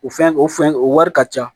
O fɛn o fɛn o wari ka ca